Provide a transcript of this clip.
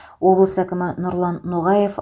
облыс әкімі нұрлан ноғаев